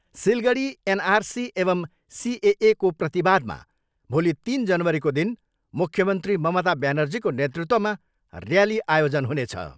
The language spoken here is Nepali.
सिलगढी एनआरसी एवम् सिएएको प्रतिवादमा भोलि तिन जनवरीको दिन मुख्यमन्त्री ममता ब्यानर्जीको नेतृत्वमा ऱ्याली आयोजन हुनेछ।